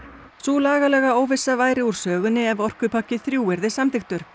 sú lagalega óvissa væri úr sögunni ef orkupakki þrjú yrði samþykktur